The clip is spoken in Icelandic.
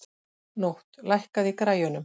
Nótt, lækkaðu í græjunum.